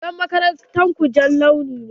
Rigar makarantar ku jan launi ne?